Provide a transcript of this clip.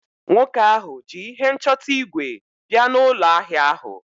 nwoke ahu ji ihe nchọta ígwè bia n’ụlọ ahịa ahụ